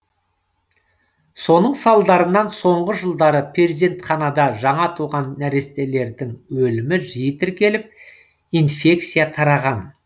соның салдарынан соңғы жылдары перзентханада жаңа туған нәрестелердің өлімі жиі тіркеліп инфекция тараған